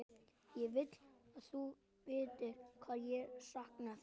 Ég vil að þú vitir hvað ég sakna þín.